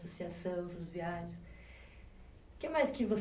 Associação, suas viagens. O que mais que você